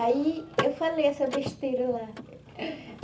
Aí eu falei essa besteira lá.